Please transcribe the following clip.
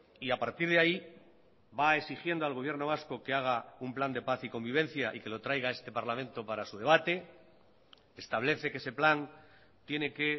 y a partir de ahí va exigiendo al gobierno vasco que haga un plan de paz y convivencia y que lo traiga a este parlamento para su debate establece que ese plan tiene que